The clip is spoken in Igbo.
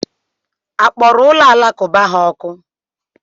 A kpọrọ ụlọ alakụba ha ọkụ?